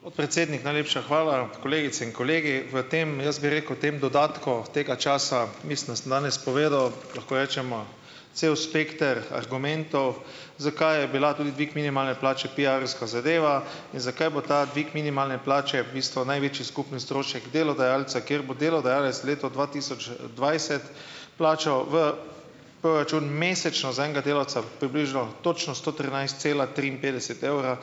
Podpredsednik, najlepša hvala. Kolegice in kolegi. V tem, jaz bi rekel, tem dodatku tega časa mislim, da sem danes povedal, lahko rečemo, cel spekter argumentov, zakaj je bil tudi dvig minimalne plače piarovska zadeva in zakaj bo ta dvig minimalne plače v bistvu največji skupni strošek delodajalca, kjer bo delodajalec v letu dva tisoč dvajset plačal v proračun mesečno za enega delavca približno točno sto trinajst cela triinpetdeset evra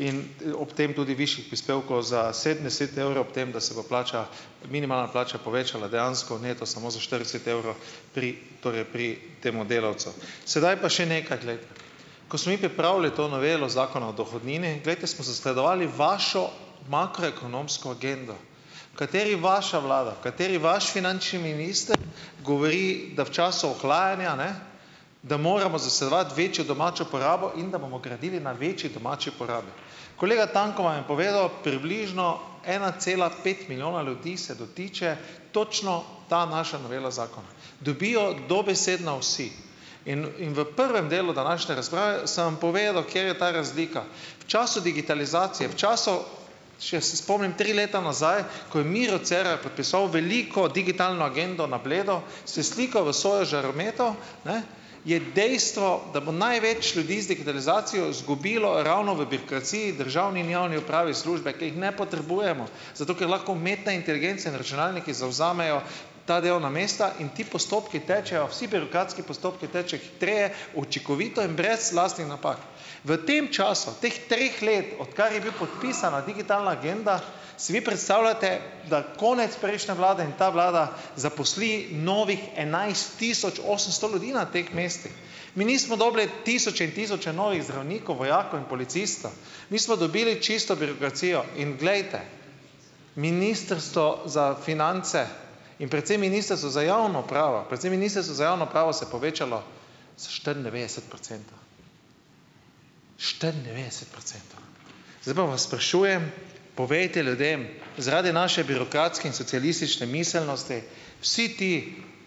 in ob tem tudi višjih prispevkov za sedemdeset evrov, ob tem da se bo plača, minimalna plača povečala dejansko neto samo za štirideset evrov pri, torej pri tem delavcu. Sedaj pa še nekaj, glejte. Ko smo mi pripravili to novelo Zakona o dohodnini, glejte, smo zasledovali vašo makroekonomsko agendo, v kateri vaša vlada, v kateri vaš finančni minister govori, da v času ohlajanja, ne da moramo zasledovati večjo domačo porabo in da bomo gradili na večji domači porabi. Kolega Tanko vam je povedal, približno ena cela pet milijona ljudi se dotika točno ta naša novela zakona, dobijo dobesedno vsi. In in v prvem delu današnje razprave sem vam povedal, kje je ta razlika. V času digitalizacije, v času, če se spomnim tri leta nazaj, ko je Miro Cerar podpisoval veliko digitalno agendo na Bleda, se slikal v svojo žarometov, ne, je dejstvo, da bo največ ljudi z digitalizacijo izgubilo ravno v birokraciji v državni in javni upravi službe, ki jih ne potrebujemo, zato ker lahko umetne inteligence na računalniku zavzamejo ta delovna mesta in ti postopki tečejo, vsi birokratski postopki tečejo hitreje, učinkovito in brez lastnih napak. V tem času teh treh let, odkar je bila podpisana digitalna agenda, si vi predstavljate, da konec prejšnje vlade in ta vlada zaposli novih enajst tisoč osemsto ljudi na teh mestih. Mi nismo dobili tisoče in tisoče novih zdravnikov, vojakov in policistov. Mi smo dobili čisto birokracijo. In glejte, Ministrstvo za finance in predvsem Ministrstvo za javno upravo, predvsem Ministrstvo za javno upravo se je povečalo za štiriindevetdeset procentov, štiriindevetdeset procentov. Zdaj pa vas sprašujem, povejte ljudem, zaradi naše birokratske in socialistične miselnosti vsi ti,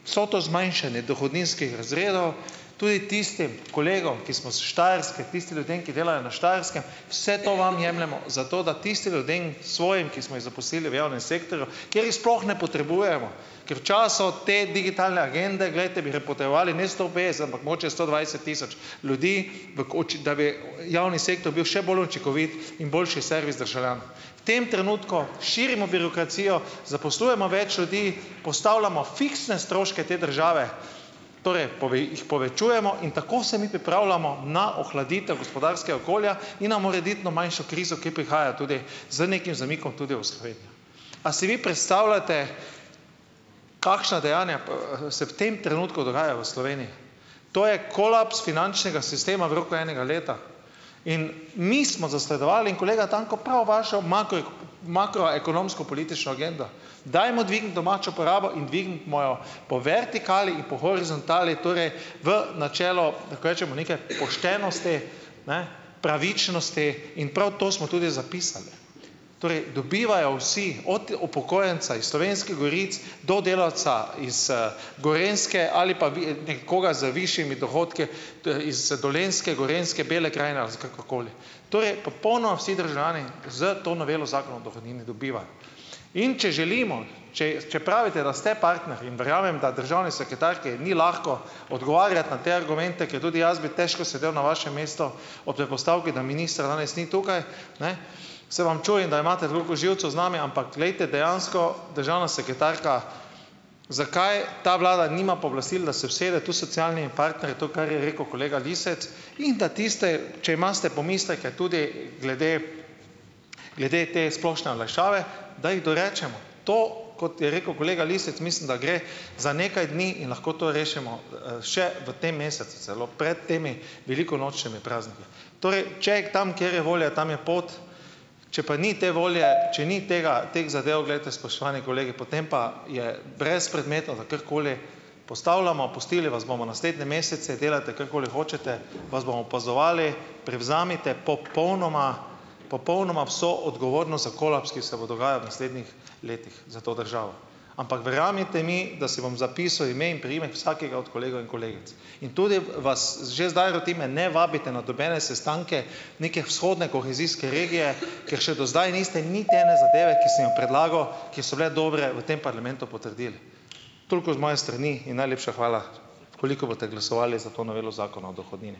vse to zmanjšanje dohodninskih razredov, tudi tistim kolegom, ki smo s Štajerske, tistim ljudem, ki delajo na Štajerskem, vse to vam jemljemo, zato da tistim ljudem, svojim, ki smo jih zaposlili v javnem sektorju, kjer jih sploh ne potrebujemo, ker v času te digitalne agende, glejte, bi potrebovali ne sto petdeset, ampak mogoče sto dvajset tisoč ljudi, v koči, da bi javni sektor bil še bolj učinkovit in boljši servis državljan. V tem trenutku širimo birokracijo, zaposlujemo več ljudi, postavljamo fiksne stroške te države, torej jih povečujemo in tako se mi pripravljamo na ohladitev gospodarskega okolja in na morebitno manjšo krizo, ki prihaja tudi z nekim zamikom tudi v Slovenijo. A si vi predstavljate, kakšna dejanja, se v tem trenutku dogajajo v Sloveniji? To je kolaps finančnega sistema v roku enega leta. In mi smo zasledovali in kolega Tanko prav vašo makroekonomsko politično agendo, dajmo dvigniti domačo porabo in dvigniti mojo po vertikali in po horizontali, torej v načelo, lahko rečemo, neke poštenosti, ne, pravičnosti in prav to smo tudi zapisali. Torej dobivajo vsi, od upokojenca iz Slovenskih goric do delavca iz, Gorenjske ali pa nekoga z višjimi dohodki iz Dolenjske, Gorenjske, Bele krajine ali za kakorkoli. Torej popolnoma vsi državljani s to novelo Zakona o dohodnini dobivajo. In če želimo, če če pravite, da ste partner, in verjamem, da državni sekretarki ni lahko odgovarjati na te argumente, ker tudi jaz bi težko sedel na vašem mestu ob predpostavki, da ministra danes ni tukaj, ne, se vam čudim, da imate toliko živcev z nami, ampak glejte dejansko državna sekretarka, zakaj ta vlada nima pooblastil, da se usede tu s socialnimi partnerji, to, kar je rekel kolega Lisec, in da tiste, če imate pomisleke tudi glede glede te splošne olajšave, da jih dorečemo. To, kot je rekel kolega Lisec, mislim, da gre za nekaj dni in lahko to rešimo, še v tem mesecu, celo pred temi velikonočnimi prazniki. Torej, če tam, kjer je volja, tam je pot. Če pa ni te volje, če ni tega teh zadev, glejte, spoštovani kolegi, potem pa je brezpredmetno, da karkoli postavljamo. Pustili vas bomo naslednje mesece, delajte karkoli hočete, vas bomo opazovali, prevzemite popolnoma popolnoma vso odgovornost za kolaps, ki se bo dogajal v naslednjih letih za to državo. Ampak verjemite mi, da si bom zapisal ime in priimek vsakega od kolegov in kolegic. In tudi vas že zdaj rotim, me ne vabite na nobene sestanke neke vzhodne kohezijske regije, ker še do zdaj niste niti ene zadeve, ki sem jo predlagal, ki so bile dobre, v tem parlamentu potrdili. Toliko z moje strani in najlepša hvala, v kolikor boste glasovali za to novelo zakona o dohodnini.